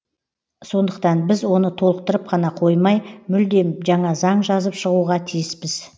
сондықтан біз оны толықтырып қана қоймай мүлдем жаңа заң жазып шығуға тиіспіз